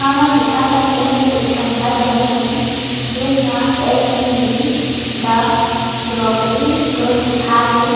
हमन देखत हन एमे एक ठ घर बने हे जेन मा L V Lee the grocery store लिखा हे।